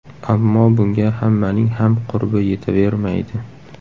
Ammo bunga hammaning ham qurbi yetavermaydi”.